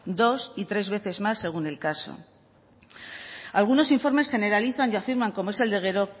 dos y tres veces más según el caso algunos informes generalizan y afirman como es